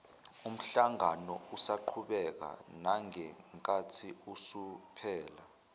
umhlanganousaqhubeka nangenkathi usuphela